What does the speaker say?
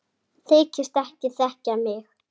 Þykist ekki þekkja mig!